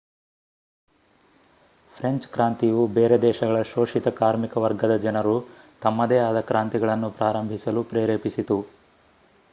French ಕ್ರಾಂತಿಯು ಬೇರೆ ದೇಶಗಳ ಶೋಷಿತ ಕಾರ್ಮಿಕ ವರ್ಗದ ಜನರು ತಮ್ಮದೇ ಆದ ಕ್ರಾಂತಿಗಳನ್ನು ಪ್ರಾರಂಭಿಸಲು ಪ್ರೇರೇಪಿಸಿತು